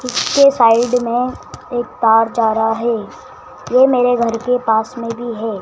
उसके साइड में एक तार जा रहा है ये मेरे घर के पास में भी है।